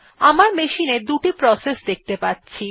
আমার মেশিন এ দুটি প্রসেস দেখতে পাচ্ছি